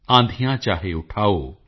ਆਂਧੀਯਾਂ ਚਾਹੇ ਉਠਾਓ